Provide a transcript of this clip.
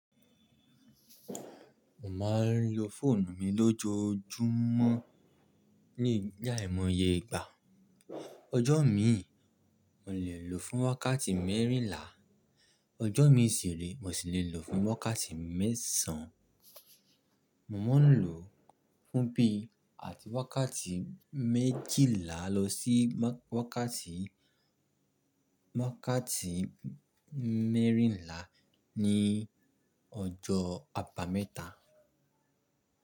Mo máa ń lo fóònù mi lójoojúmọ́ ní aimọye igbà. Ọjọ́ mìí, mo lè lò ó fún wákàtí mẹ́rìnlá, ọjọ́ mìí sìre, mo sì lè lò ó fún wákàtí mẹ́sàn-án. Mò ń lò fún bíi àti wákàtí méjílá lọ sí wákàtí mẹ́rìnlá ní ọjọ́ abámẹ́ta.